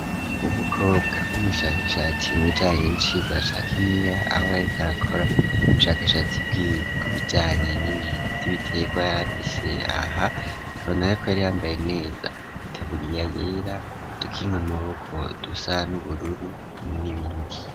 Wa mukobwa w'umushakashatsi nijanye inshi gwashaka imia aho yarikarakora ubushakashatsi bw'ikujyanye n'ibintu y'ibitega yarapise aha kabona ye ko yari yambaye neza tabuliya yera dukink maboko dusa n'ubururu n'ibindi.